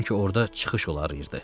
Sanki orada çıxış olardı.